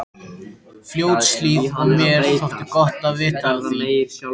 Fljótshlíð og mér þótti gott að vita af því.